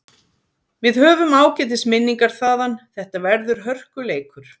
Við höfum ágætis minningar þaðan, þetta verður hörkuleikur.